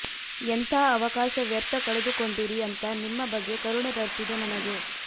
ಎಂಥಾ ಅವಕಾಶ ವ್ಯರ್ಥ ಕಳೆದುಕೊಂಡಿರಿ ಅಂತ ನಿಮ್ಮ ಬಗ್ಗೆ ಕರುಣೆ ಬರ್ತಿದೆ ನನಗೆ